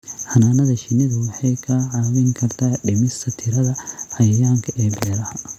Xannaanada shinnidu waxay kaa caawin kartaa dhimista tirada cayayaanka ee beeraha.